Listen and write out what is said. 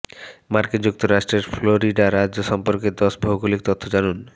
মার্কিন যুক্তরাষ্ট্রের ফ্লোরিডা রাজ্য সম্পর্কে দশ ভৌগোলিক তথ্য জানুন